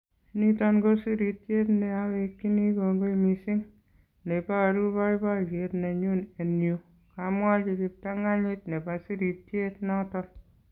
Niton ko sirityet ne awekyinii kongoi missing, ne booruu boiboyet nenyun en yuu", kamwachi kiptanganyit nebo sirityeet noton.